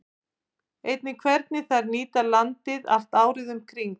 Einnig hvernig þær nýta landið allt árið um kring.